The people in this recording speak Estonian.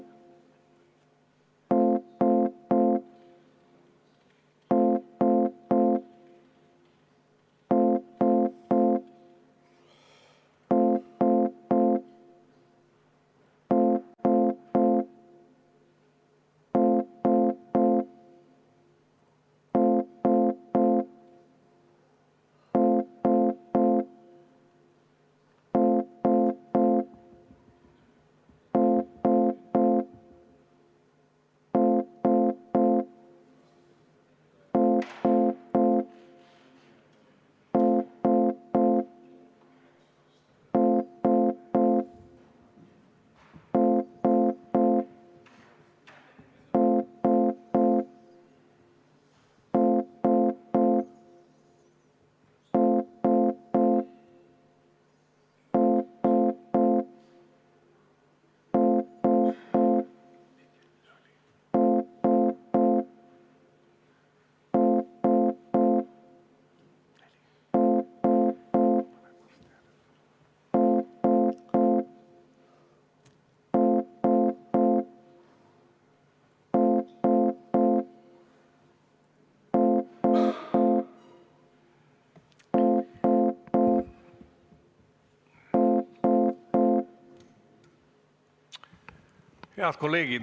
Head kolleegid!